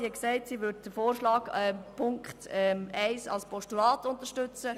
Sie hat gesagt, sie würde Ziffer 1 als Postulat unterstützen.